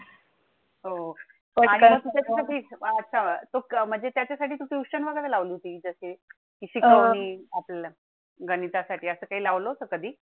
अच्छा म्हणजे त्याच्या साठी Tution लावली होती जसे कि घेऊन आपल्या गणिता साठी असे लावलं होतं कधी.